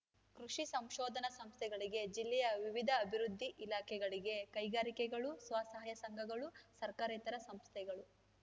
ಕೃಷಿ ಸಂಶೋಧನಾ ಸಂಸ್ಥೆಗಳಿಗೆ ಜಿಲ್ಲೆಯ ವಿವಿಧ ಅಭಿವೃದ್ಧಿ ಇಲಾಖೆಗಳಿಗೆ ಕೈಗಾರಿಕೆಗಳು ಸ್ವಸಾಹಯ ಸಂಘಗಳು ಸರ್ಕಾರೇತರ ಸಂಸ್ಥೆಗಳು